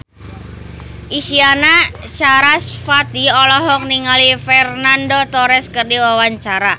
Isyana Sarasvati olohok ningali Fernando Torres keur diwawancara